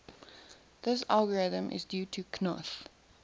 this algorithm is due to knuth